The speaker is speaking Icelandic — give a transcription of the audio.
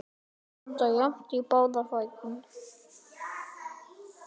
Standa jafnt í báða fætur.